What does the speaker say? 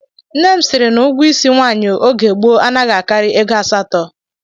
Nne m sịrị na ụgwọ isi nwaanyị oge gboo anaghị akarị ego asatọ